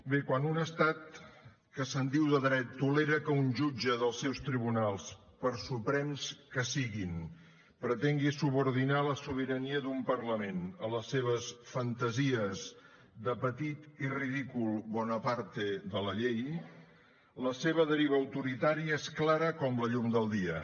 bé quan un estat que se’n diu de dret tolera que un jutge dels seus tribunals per suprems que siguin pretengui subordinar la sobirania d’un parlament a les seves fantasies de petit i ridícul bonaparte de la llei la seva deriva autoritària és clara com la llum del dia